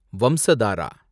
Vamsadhara